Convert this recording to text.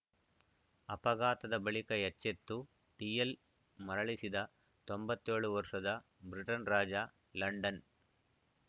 ಅಪಘಾತದ ಬಳಿಕ ಎಚ್ಚೆತ್ತು ಡಿಎಲ್‌ ಮರಳಿಸಿದ ತೊಂಬತ್ತ್ ಏಳು ವರ್ಷದ ಬ್ರಿಟನ್‌ ರಾಜ ಲಂಡನ್‌